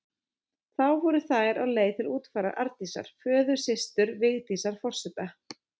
Þá voru þær á leið til útfarar Arndísar, föðursystur Vigdísar forseta.